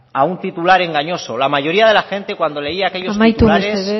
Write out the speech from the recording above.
a un titular engañoso la mayoría de la gente cuando leía aquellos titulares amaitu mesedez